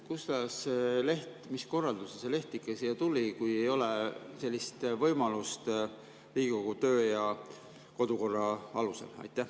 Kuidas, mis korralduse alusel see leht ikka siia tuli, kui ei ole sellist võimalust Riigikogu töö‑ ja kodukorra alusel?